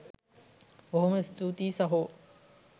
බොහොම ස්තූතියි සහෝ.